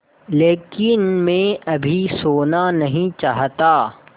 लेकिन मैं अभी सोना नहीं चाहता